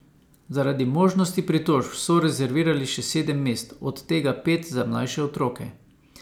Zaradi možnosti pritožb so rezervirali še sedem mest, od tega pet za mlajše otroke.